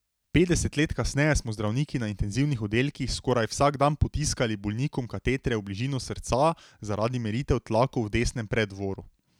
Petdeset let kasneje smo zdravniki na intenzivnih oddelkih skoraj vsak dan potiskali bolnikom katetre v bližino srca zaradi meritev tlakov v desnem preddvoru.